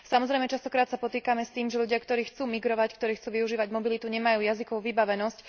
Samozrejme, často sa stretávame s tým, že ľudia, ktorí chcú migrovať, ktorí chcú využívať mobilitu, nemajú jazykovú vybavenosť.